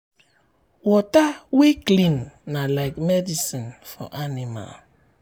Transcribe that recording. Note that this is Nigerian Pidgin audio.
water wey clean na like medicine for animal. um